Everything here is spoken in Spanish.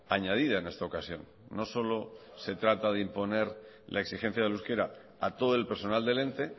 añadida en esta ocasión no solo se trata de imponer la exigencia del euskera a todo el personal del ente